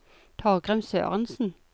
Torgrim Sørensen